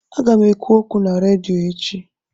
Aga m ekwu okwu na redio echi.